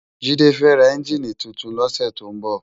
Jide fè rá ènjiní tútún lòsè tó n bò